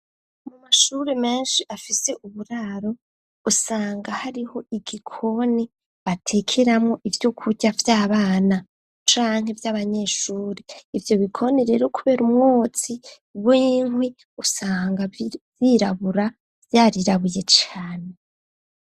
Mu mashure menshi afise uburaro usanga hariho igikoni batekeramwo ivyokurya vy'abana canke by'abanyeshure ivyo bikoni rero kubera umwotsi w'inkwi usanga vyirabura vyarirabuye cane.